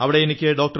അവിടെ എനിക്ക് ഡോ